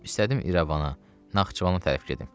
İstədim İrəvana, Naxçıvana tərəf gedim.